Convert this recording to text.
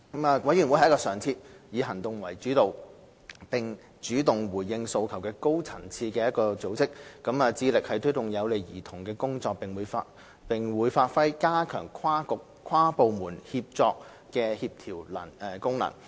委員會是一個常設、以行動為主導，並主動回應訴求的高層次組織，致力推動有利兒童的工作，並會發揮加強跨局、跨部門協作的協調功能。